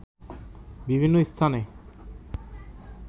বিভিন্ন স্থানে